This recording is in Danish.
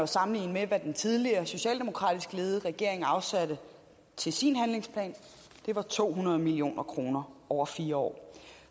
sammenligne med hvad den tidligere socialdemokratisk ledede regering afsatte til sin handlingsplan det var to hundrede million kroner over fire år